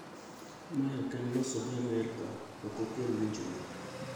Mae oken loso gi amerka ok okel winjruok.